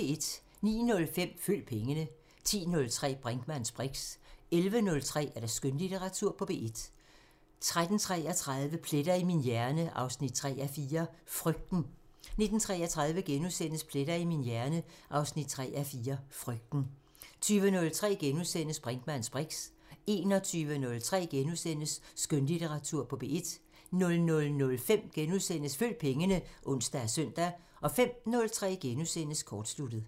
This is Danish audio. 09:05: Følg pengene 10:03: Brinkmanns briks 11:03: Skønlitteratur på P1 13:33: Pletter i min hjerne 3:4 – Frygten 19:33: Pletter i min hjerne 3:4 – Frygten * 20:03: Brinkmanns briks * 21:03: Skønlitteratur på P1 * 00:05: Følg pengene *(ons og søn) 05:03: Kortsluttet *